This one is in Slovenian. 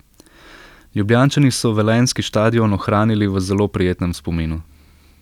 Ljubljančani so velenjski štadion ohranili v zelo prijetnem spominu.